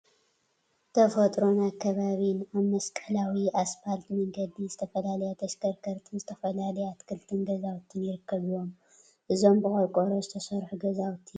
ተፈጥሮን አከባቢን አብ መስቀላዊ እስፓልት መንገዲ ዝተፈላለያ ተሽከርከርቲን ዝተፈላለዩ አትክልትን ገዛውቲን ይርከቡዎም፡፡ እዞም ብቆርቆሮ ዝተሰርሑ ገዛውቲ ናይ ምንታይ ድርጅት እዮም?